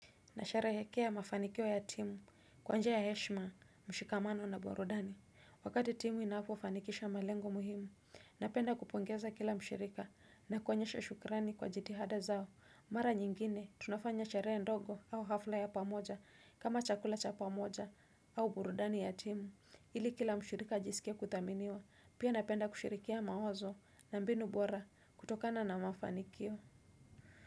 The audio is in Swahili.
Nasherehekea mafanikio ya timu kwa njia ya heshima mshikamano na burudani. Wakati timu inapofanikisha malengo muhimu, napenda kupongeza kila mshirika na kuonyesha shukrani kwa jitihada zao. Mara nyingine tunafanya sherehe ndogo au hafla ya pamoja kama chakula cha pamoja au burudani ya timu. Ili kila mshirika ajisikie kuthaminiwa, pia napenda kushirikiana mawazo na mbinu bora kutokana na mafanikio.